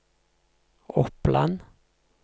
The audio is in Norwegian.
Oppland